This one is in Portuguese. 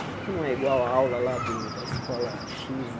Por que é que não é igual a aula lá do da escola xis?